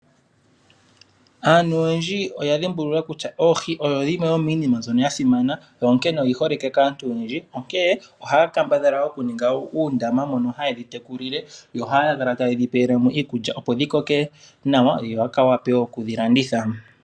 Aantu oyendji oya dhimbulula kutya oohi odho dhimwe dho miinima mbyono ya simana, onkene oyi holike kaantu oyendji. Onkene ohaya kambadhala okuninga uundama mono haye dhi tekulile, yo ohaya kala tayedhi pelemo iikulya opo dhi koke nawa ,yo ya wape wo okudhi landitha.